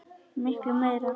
Miklu meira.